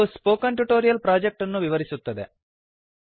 ಇದು spoken tutorial project ಅನ್ನು ವಿವರಿಸುತ್ತದೆ